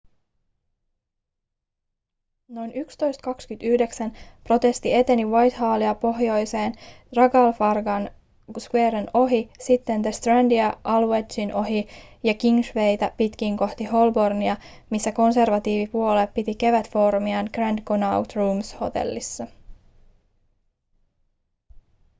noin 11.29 protesti eteni whitehallia pohjoiseen trafalgar squaren ohi sitten the strandia aldwychin ohi ja kingswaytä pitkin kohti holbornia missä konservatiivipuolue piti kevätfoorumiaan grand connaught rooms hotellissa